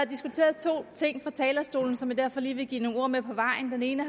diskuteret to ting fra talerstolen som jeg derfor lige vil give nogle ord med på vejen den ene